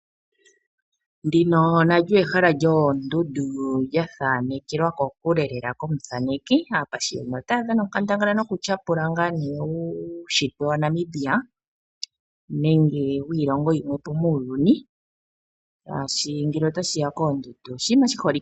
Ndino nalyo ehala lyoondundu, ndi lya thanekelwa kokule lela komuthaneki. Aathaneki ota ya dhana onkandangala ngaa ne okutyapula uunshitwe waNamibia nenge wiilongo yimwe po muuyuni, shaashi ngele ota shi ya koondundu oshinima shi holike.